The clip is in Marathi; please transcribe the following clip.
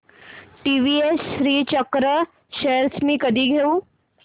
टीवीएस श्रीचक्र शेअर्स मी कधी घेऊ